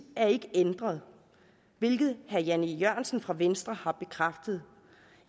er ikke ændret hvilket herre jan e jørgensen fra venstre har bekræftet